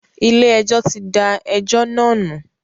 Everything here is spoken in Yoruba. Ilé ẹjọ́ tí da ẹjọ́ náà nù.